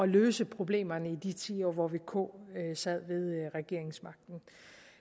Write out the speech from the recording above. løse problemerne i de ti år hvor vk sad med regeringsmagten